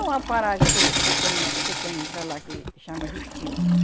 É uma paragem que que tem, que tem para lá que chama Justina, né?